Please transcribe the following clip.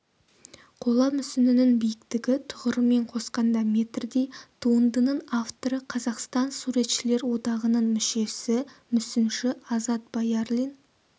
қола мүсіннің биіктігі тұғырымен қосқанда метрдей туындының авторы қазақстан суретшілер одағының мүшесі мүсінші азат баярлин